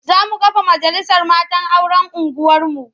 Za mu kafa majalisar matan auren unguwarmu.